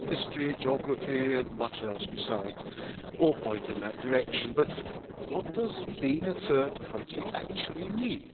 History, geography and much else besides, all point in that direction, but what does being a third country actually mean?